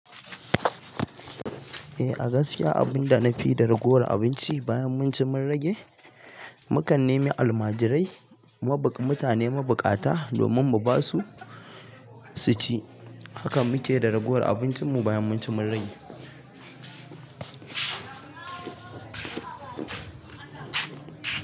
Eh, a gaskiya abinda na fi yi da ragowar abinci bayan mun ci mun rage, mukan nemi almajirai, mutane mabukata domin mu basu su ci. Hakan muke da ragowar abincin mu bayan mun ci mun rage.